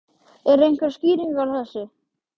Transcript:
Lillý Valgerður: Eru einhverjar skýringar á þessu?